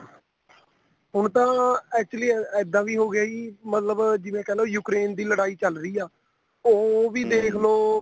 ਹੁਣ ਤਾਂ actually ਇੱਦਾਂ ਵੀ ਹੋ ਗਿਆ ਜੀ ਮਤਲਬ ਜਿਵੇਂ ਕਹਿਲੋ Ukraine ਦੀ ਲੜਾਈ ਚੱਲ ਰਹੀ ਆ ਉਹ ਵੀ ਦੇਖਲੋ